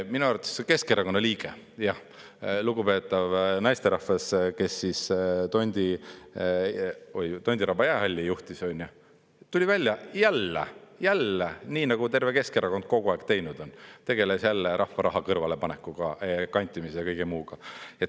Minu arvates Keskerakonna liige, jah, lugupeetav naisterahvas, kes tondi Tondiraba jäähalli juhtis, tuli välja jälle, nii nagu terve Keskerakond kogu aeg teinud on, tegeles jälle rahva raha kõrvalepanekuga, kantimisega ja kõige muuga.